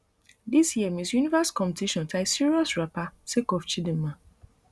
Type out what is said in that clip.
dis year miss universe competition tie serious wrapper sake of chidimma